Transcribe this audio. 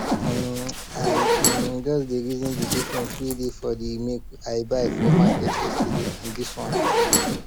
um i um just dey reason de different wey dey for de milk i buy for market yesterday and this one